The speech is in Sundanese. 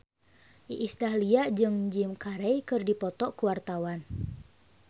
Iis Dahlia jeung Jim Carey keur dipoto ku wartawan